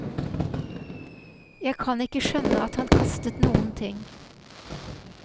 Jeg kan ikke skjønne at han kastet noen ting.